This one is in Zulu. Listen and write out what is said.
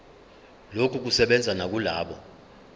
lokhu kusebenza nakulabo